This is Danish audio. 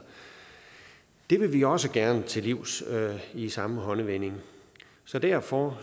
det vil vi også gerne til livs i samme håndevending så derfor